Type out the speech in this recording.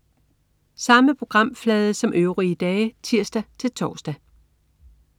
Samme programflade som øvrige dage (tirs-tors)